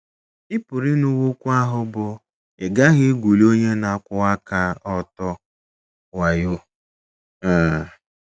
Ị PỤRỤ ịnụwo okwu ahụ bụ́, “ Ị gaghị egwuli onye na - akwụwa aka ọtọ wayo. ” um